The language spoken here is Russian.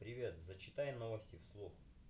привет зачитай новости вслух